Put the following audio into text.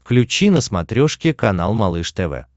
включи на смотрешке канал малыш тв